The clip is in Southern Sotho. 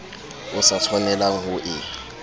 o sa tshwanelang ho e